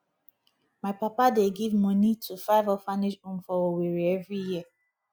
my papa dey give moni to five orphanage home for owerri every year